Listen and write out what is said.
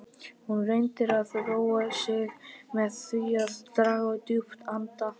Hún reynir að róa sig með því að draga djúpt andann.